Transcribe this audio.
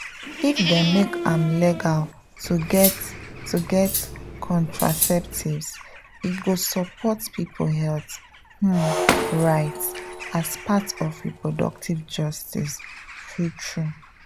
if dem make am legal to get to get contraceptives e go support people health um rights as part of reproductive justice true true.